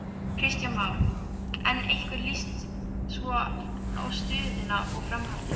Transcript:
Kristján Már: En hvernig líst svo á stöðuna og framhaldið?